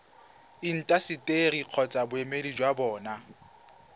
intaseteri kgotsa boemedi jwa bona